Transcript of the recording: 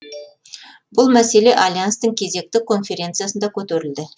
бұл мәселе альянстың кезекті конференциясында көтерілді